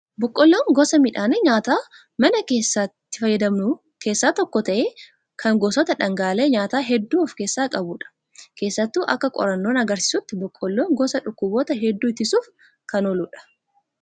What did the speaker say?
Boqqolloon gosa midhaan nyaataa mana keenyatti itti fayyadamnu keessaa tokko ta'ee, kan gosoota dhangaalee nyaataa hedduu of keessaa qabudha. Keessattuu akka qorannoon agarsiisutti boqqolloon gosa dhukkubootaa hedduu ittisuuf kan ooludha.